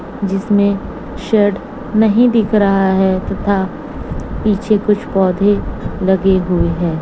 जिसमें शेड नहीं दिख रहा है तथा पीछे कुछ पौधे लगे हुए है।